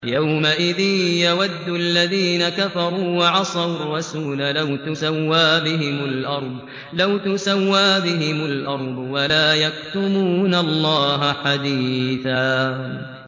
يَوْمَئِذٍ يَوَدُّ الَّذِينَ كَفَرُوا وَعَصَوُا الرَّسُولَ لَوْ تُسَوَّىٰ بِهِمُ الْأَرْضُ وَلَا يَكْتُمُونَ اللَّهَ حَدِيثًا